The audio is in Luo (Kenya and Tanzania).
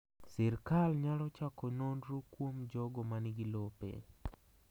Sirkal nyalo chako nonro kuom jogo manigi lope..